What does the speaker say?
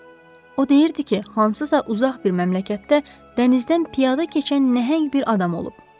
O deyirdi ki, hansısa uzaq bir məmləkətdə dənizdən piyada keçən nəhəng bir adam olub.